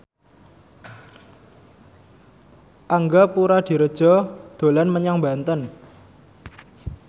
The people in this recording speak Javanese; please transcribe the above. Angga Puradiredja dolan menyang Banten